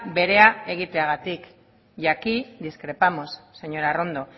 berea egiteagatik y aquí discrepamos señora arrondo